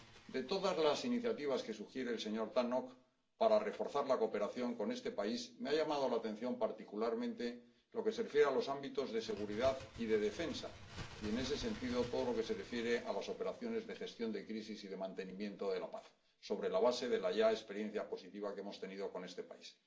De todas las iniciativas que sugiere el señor Tannock para reforzar la cooperación con este país, me ha llamado la atención particularmente lo que se refiere a los ámbitos de seguridad y de defensa y, en ese sentido, todo lo que se refiere a las operaciones de gestión de crisis y de mantenimiento de la paz, sobre la base de la ya experiencia positiva que hemos tenido con este país.